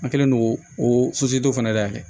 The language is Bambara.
An kɛlen don k'o o fana dayɛlɛ